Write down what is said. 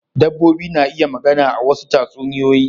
Dabbobi na iya magana a wasu tatsuniyoyin.